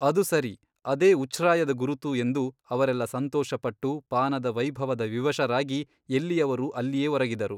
ಅದು ಸರಿ ಅದೇ ಉಚ್ಛ್ರಾಯದ ಗುರುತು ಎಂದು ಅವರೆಲ್ಲ ಸಂತೋಷಪಟ್ಟು ಪಾನದ ವೈಭವದ ವಿವಶರಾಗಿ ಎಲ್ಲಿಯವರು ಅಲ್ಲಿಯೇ ಒರಗಿದರು.